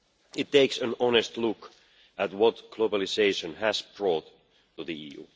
It takes an honest look at what globalisation has brought to the EU.